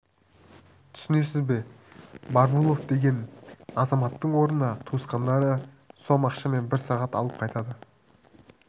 түсінесіз бе барбулов деген азаматтың орнына туысқандары сом ақша мен бір сағат алып қайтады